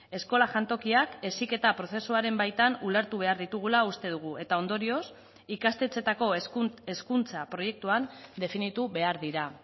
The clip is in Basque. eskola jantokiak heziketa prozesuaren baitan ulertu behar ditugula uste dugu eta ondorioz ikastetxeetako hezkuntza proiektuan definitu behar dira